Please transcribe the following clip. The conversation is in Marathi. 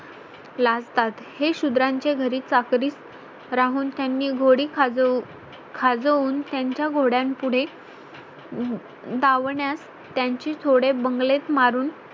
लागतात हे शुद्राच्या घरी चाकरीत राहून त्यांनी घोडी खाज खाजवून त्यांच्या घोडय़ां पुढे डावन्यास त्यांची जोडे बंगल्यात मारून